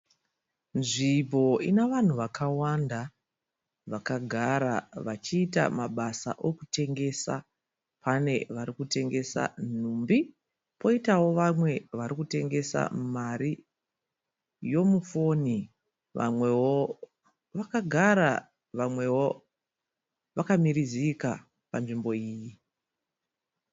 Nzvimbo ine vanhu vakawanda vakagara vachiita mabasa okutengesa. Pane varikutengesa nhumbi, poitawo vamwe varikutengesa mari yomu foni. Vamwewo vakagara, vamwewo vakamirizika panzvimbo iyi.